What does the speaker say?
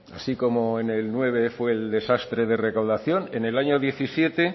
así como en el dos mil nueve fue el desastre de recaudación en el año dos mil diecisiete